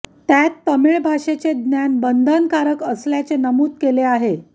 त्यात तमिळ भाषेचे ज्ञान बंधनकारक असल्याचे नमूद केले आहे